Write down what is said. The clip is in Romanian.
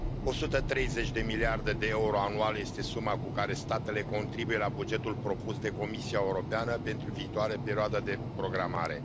130 de miliarde de euro anual este suma cu care statele contribuie la bugetul propus de Comisia Europeană pentru viitoarea perioadă de programare.